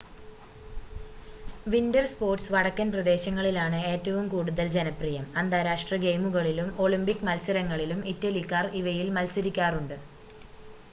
winter sports വടക്കൻ പ്രദേശങ്ങളിലാണ് ഏറ്റവും കൂടുതൽ ജനപ്രിയം അന്താരാഷ്ട്ര ഗെയിമുകളിലും ഒളിമ്പിക് മത്സരങ്ങളിലും ഇറ്റലിക്കാർ ഇവയിൽ മത്സരിക്കാറുണ്ട്